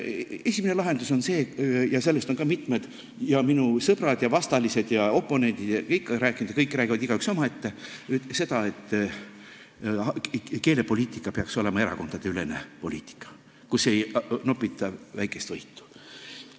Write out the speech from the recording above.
Esimene lahendus on see – sellest on ka mitmed minu sõbrad ja vastalised ja oponendid ja kõik rääkinud, aga nad räägivad igaüks omaette –, et keelepoliitika peaks olema erakondadeülene, kus ei nopita väikest võitu.